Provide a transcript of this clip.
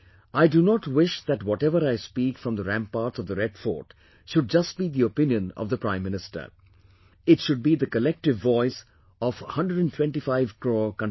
I do not wish that whatever I speak from the ramparts of Red Fort should just be the opinion of the Prime Minister; it should be the collective voice of 125 crores countrymen